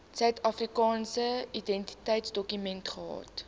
suidafrikaanse identiteitsdokument gehad